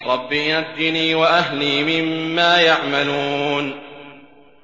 رَبِّ نَجِّنِي وَأَهْلِي مِمَّا يَعْمَلُونَ